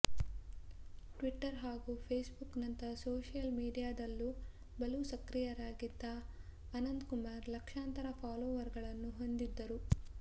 Twitter ಹಾಗೂ Facebook ನಂಥ social ಮೀಡಿಯಾದಲ್ಲೂ ಬಲು ಸಕ್ರಿಯರಾಗಿದ್ದ ಅನಂತ್ ಕುಮಾರ್ ಲಕ್ಷಾಂತರ ಫಾಲೋವರ್ ಗಳನ್ನು ಹೊಂದಿದ್ದರು